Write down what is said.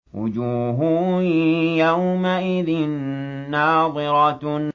وُجُوهٌ يَوْمَئِذٍ نَّاضِرَةٌ